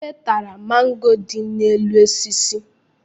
Ebe tara mango dị n'elu osisi